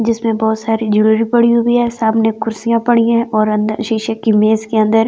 जिसमें बहुत सारी ज्वेलरी पड़ी हुई है सामने कुर्सियां पड़ी हुई और अंदर शीशे की मेज़ के अंदर बनी हुई है।